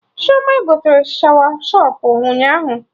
Chioma gotere Shawashọpụ ụnyaahụ